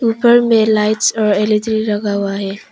ऊपर में लाइट्स और एल_इ_डी लगा हुआ है।